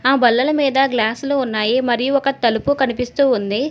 ఆ బల్లల మీద గ్లాసులు ఉన్నాయి మరియు ఒక తలుపు కనిపిస్తూ ఉంది.